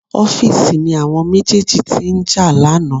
Office ni àwọn méjèèjì tí ń jà lánàá